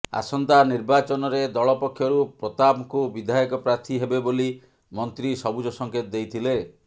ଆସନ୍ତା ନିର୍ବାଚନରେ ଦଳ ପକ୍ଷରୁ ପ୍ରତାପଙ୍କୁ ବିଧାୟକ ପ୍ରାର୍ଥୀ ହେବେ ବୋଲି ମନ୍ତ୍ରୀ ସବୁଜ ସଙ୍କେତ ଦେଇଥିଲେ